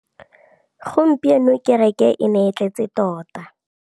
Gompieno kêrêkê e ne e tletse tota.